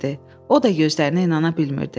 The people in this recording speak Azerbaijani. O da gözlərinə inana bilmirdi.